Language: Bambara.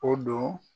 O don